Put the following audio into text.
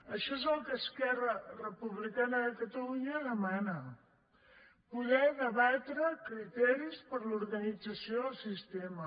això és el que esquerra republicana de catalunya demana poder debatre criteris per a l’organització del sistema